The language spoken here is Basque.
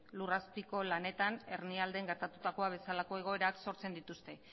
lur azpiko lanetan hernialden gertatutakoa bezalako egoerak sortzen dituzte